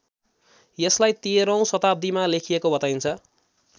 यसलाई १३औं शताब्दीमा लेखिएको बताइन्छ